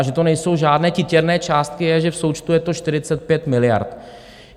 A že to nejsou žádné titěrné částky, je, že v součtu je to 45 miliard.